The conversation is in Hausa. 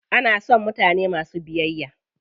Ana son mutane masu biyayya.